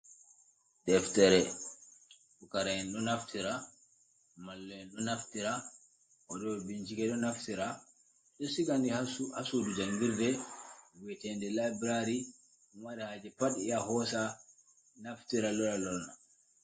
Deftere, pukaraaɓe ɗo naftira, mallume`n ɗo naftira, waɗooɓe bincike ɗo naftira. Ɓe ɗo siga nde haa suudu janngirde wi`eteende laybraari, marɗo haaje pat yaa hoosa naftira lora lorna.